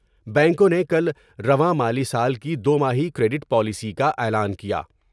بینکوں نے کل رواں مالی سال کی دوماہی کریڈٹ پالیسی کا اعلان کیا ۔